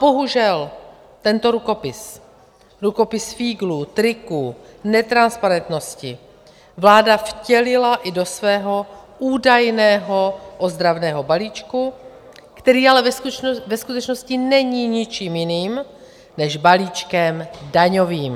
Bohužel tento rukopis, rukopis fíglů, triků, netransparentnosti, vláda vtělila i do svého údajného ozdravného balíčku, který ale ve skutečnosti není ničím jiným než balíčkem daňovým.